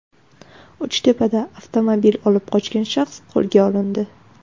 Uchtepada avtomobil olib qochgan shaxs qo‘lga olindi.